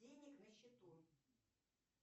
денег на счету